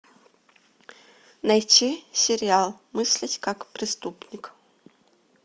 найти сериал мыслить как преступник